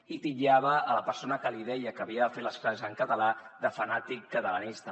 i titllava la persona que li deia que havia de fer les classes en català de fanàtic catalanista